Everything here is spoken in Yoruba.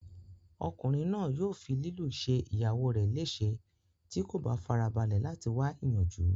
Ọkùnrin náà yóò fi lílù ṣe ìyàwó rẹ léèse tí kò bá farabalẹ̀ láti wá ìyanjú